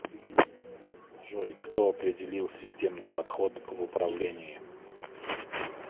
джой кто определил системный подход в управлении